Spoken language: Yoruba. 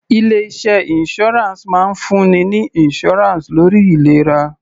Ilé iṣẹ́ insurance máa ń fún ni ní insurance lórí ìlera.